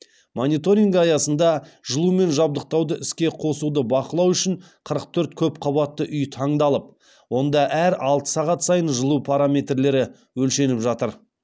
мониторинг аясында жылумен жабдықтауды іске қосуды бақылау үшін қырық төрт көп қабатты үй таңдалып онда әр алты сағат сайын жылу параметрлері өлшеніп жатыр